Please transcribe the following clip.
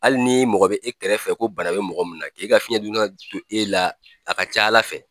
Hali ni mɔgɔ bɛ e kɛrɛfɛ ko bana bɛ mɔgɔ min na e ka fiyɛn e la a ka ca Ala fɛ.